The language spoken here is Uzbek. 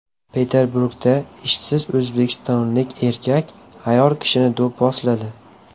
Peterburgda ishsiz o‘zbekistonlik erkak ayol kishini do‘pposladi.